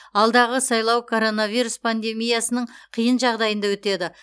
алдағы сайлау коронавирус пандемиясының қиын жағдайында өтеді